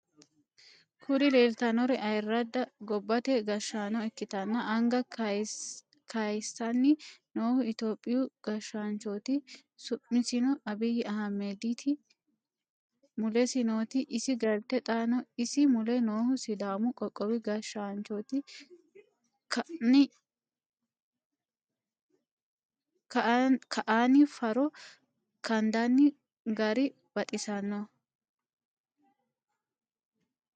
Kuri leeltannori ayirradda gobbate gashshaano ikkitanna anga kaysanni nohu itiyophiyu gashshanchoti su'misino abiy ahimedit mulesi nooti isi galtet xaano isi mule noohu sidaamu qoqqowi gashshanchoti. ka'anni faaro kandanni gar baxissanno.